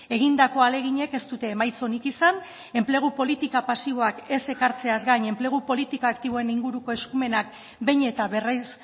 egindako ahaleginek ez dute emaitza onik izan enplegu politika pasiboak ez ekartzeaz gain enplegu politika aktiboen inguruko eskumenak behin eta berriz